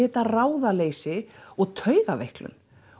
þetta ráðaleysi og taugaveiklun